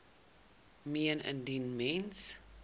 meen indien mens